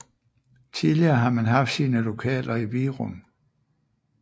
Tidligere har man haft sine lokaler i Virum